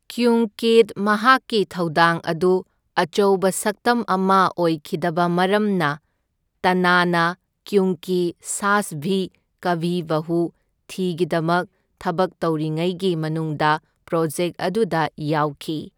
ꯀ꯭ꯌꯨꯡꯀꯤꯗ ꯃꯍꯥꯛꯀꯤ ꯊꯧꯗꯥꯡ ꯑꯗꯨ ꯑꯆꯧꯕ ꯁꯛꯇꯝ ꯑꯃ ꯑꯣꯏꯈꯤꯗꯕ ꯃꯔꯝꯅ, ꯇꯟꯅꯥꯅ ꯀ꯭ꯌꯨꯡꯀꯤ ꯁꯥꯁ ꯚꯤ ꯀꯚꯤ ꯕꯍꯨ ꯊꯤꯒꯤꯗꯃꯛ ꯊꯕꯛ ꯇꯧꯔꯤꯉꯩꯒꯤ ꯃꯅꯨꯡꯗ ꯄ꯭ꯔꯣꯖꯦꯛ ꯑꯗꯨꯗ ꯌꯥꯎꯈꯤ꯫